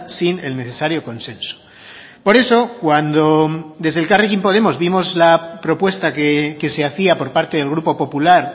sin el necesario consenso por eso cuando desde elkarrekin podemos vimos la propuesta que se hacía por parte del grupo popular